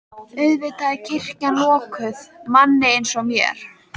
Auðvitað er kirkjan lokuð manni eins og mér.